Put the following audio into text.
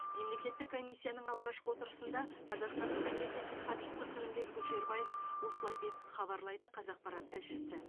мемлекеттік комиссияның алғашқы отырысында қазақстанның мемлекеттік хатшысы қырымбек көшербаев осылай деп хабарлайды қазақпарат тілшісі